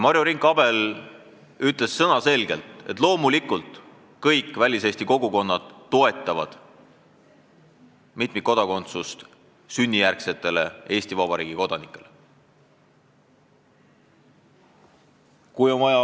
Marju Rink-Abel ütles selge sõnaga, et loomulikult kõik väliseesti kogukonnad toetavad sünnijärgsete Eesti Vabariigi kodanike mitmikkodakondsust.